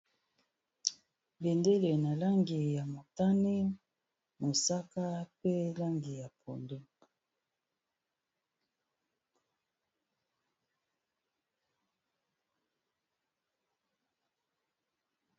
bendele eza na langi ya motane mosaka pe langi ya podo